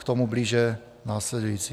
K tomu blíže následující.